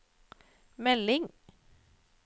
melding